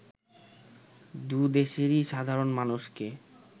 দুদেশেরই সাধারণ মানুষকে